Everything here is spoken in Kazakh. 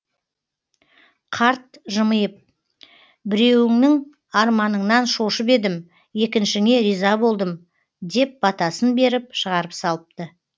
қарт жымиып біреуіңнің арманыңнан шошып едім екіншіңе риза болдым деп батасын беріп шығарып салыпты